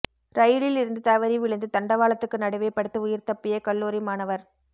ரயிலில் இருந்து தவறி விழுந்து தண்டவாளத்துக்கு நடுவே படுத்து உயிர் தப்பிய கல்லூரி மாணவர்